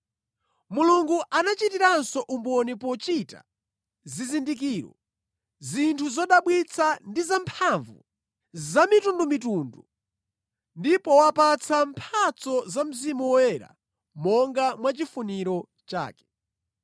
Mulungu anachitiranso umboni pochita zizindikiro, zinthu zodabwitsa ndi zamphamvu zamitundumitundu ndi powapatsa mphatso za Mzimu Woyera monga mwachifuniro chake.